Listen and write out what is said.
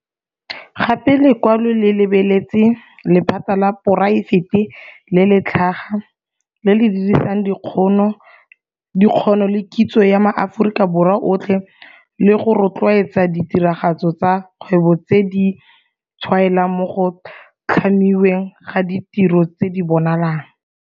Gape lekwalo le lebeletse lephata la poraefete le le tlhaga, le le dirisang dikgono le kitso ya maAforika Borwa otlhe le go rotloediwa ditiragatso tsa kgwebo tse di tshwaelang mo go tlhamiweng ga ditiro tse di bonalang.